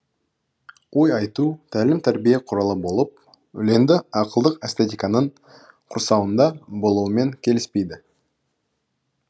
ой айту тәлім тәрбие құралы болып өлеңді ақылдық эстетиканың құрсауында болуымен келіспейді